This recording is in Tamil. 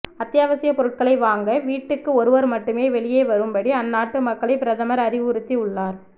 அத்தியாவசிய பொருட்களை வாங்க வீட்டுக்கு ஒருவர் மட்டும் வெளியே வரும் படி அந்நாட்டு மக்களை பிரதமர் அறிவுறுத்தி உள்ளார்